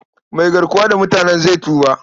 Mai garkuwa da mutanen zai tuba.